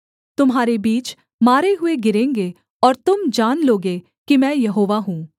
तुम्हारे बीच मारे हुए गिरेंगे और तुम जान लोगे कि मैं यहोवा हूँ